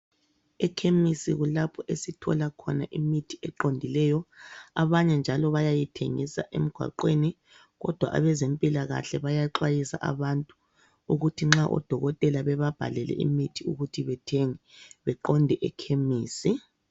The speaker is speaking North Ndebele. Ekhemisi kulapho esithola khona imithi eqondileyo, abanye njalo bayayithengisa emgwaqweni kodwa abezempilakahle bayaxwayisa abantu ukuthi nxa odokotela bebabhalele imithi ukuthi bethenge beqonde ekhemisi.